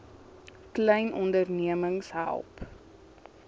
klein ondernemings help